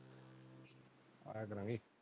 ਆਇਆ ਕਰਾਂਗੇ।